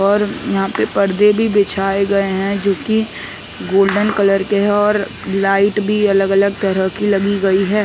और यहाँ पे पर्दे भी बिछाए गए है जोकि गोल्डन कलर के है और लाइट भी अलग -अलग तरह की लगी गई है ।